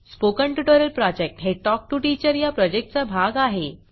spoken tutorial project हे talk to teacher या प्रॉजेक्टचा भाग आहे